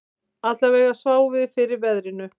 Allavega sváfum við fyrir veðrinu